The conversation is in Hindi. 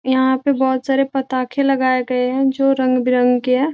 यहाँ पे बहोत सारा पताके लगाए गए हैं जो रंग-बिरंग के है।